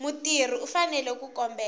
mutirhi u fanele ku kombela